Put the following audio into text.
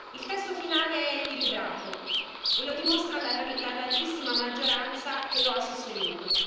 Il testo finale è equilibrato e lo dimostra la larghissima maggioranza che lo ha sostenuto.